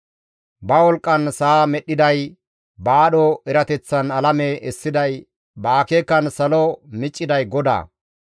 Ba wolqqan sa7a medhdhiday, ba aadho erateththan alame essiday, ba akeekan salo micciday GODAA.